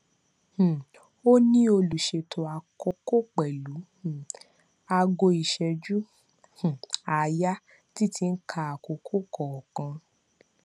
um óní olùṣètò àkókò pẹlú um aago ìṣẹjú um àáyá tí tí ń ka àkókò kọọkan